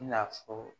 I n'a fɔ